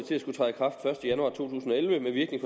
elleve med virkning